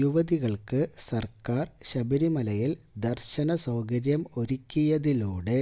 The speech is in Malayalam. യുവതികള്ക്ക് സര്ക്കാര് ശബരിമലയില് ദര്ശന സൌകര്യം ഒരുക്കിയതിലൂടെ